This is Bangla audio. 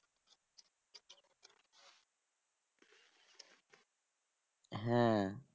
হ্যাঁ